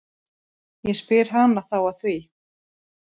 Ég spyr hana þá að því.